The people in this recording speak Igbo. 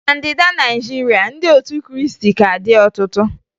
Na Ndịda Naịjirịa, ndị otu Krịịstị ka dị ọtụtụ